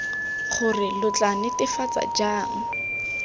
gore lo tla netefatsa jang